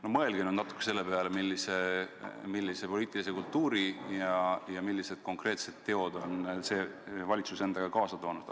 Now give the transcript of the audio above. No mõelge nüüd natuke selle peale, millise poliitilise kultuuri ja millised konkreetsed teod on see valitsus endaga kaasa toonud!